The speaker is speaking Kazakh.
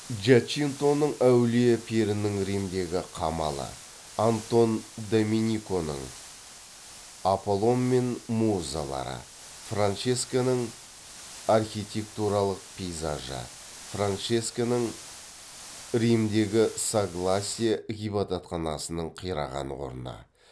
джачинтоның әулие перінің римдегі қамалы антон домениконың аполлон мен музалары франческоның архитектуралық пейзажы франческоның римдегі соглассия ғибадатханасының қираған орны